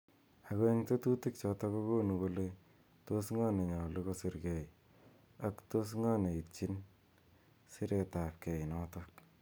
Ako eng tetutik chotok kokonu kole tos ngo ne nyalu kosir kei ako tos ngo ne itchin eng siret ab kei notok.